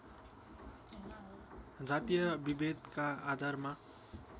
जातीय विभेदका आधारमा